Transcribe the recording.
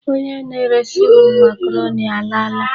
Onye na-eresi m makaroni alaala.